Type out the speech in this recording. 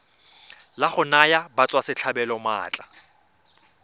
la go naya batswasetlhabelo maatla